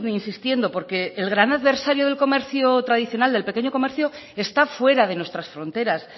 insistiendo porque el gran adversario del comercio tradicional del pequeño comercio está fuera de nuestras fronteras